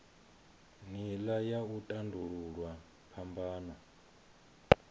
nila ya u tandululwa phambano